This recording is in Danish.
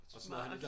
Smart